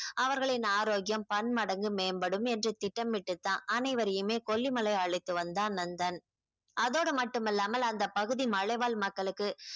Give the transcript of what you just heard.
அவர்களின் ஆரோக்கியம் பன்மடங்கு மேம்படும் என்று திட்டமிட்டு தான் அனைவரையுமே கொல்லிமலை அழைத்து வந்தான் நந்தன் அதோடு மட்டுமில்லாமல் அந்தப் பகுதி மலைவாழ் மக்களுக்கு